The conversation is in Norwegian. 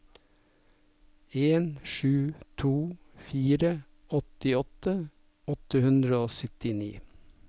en sju to fire åttiåtte åtte hundre og syttini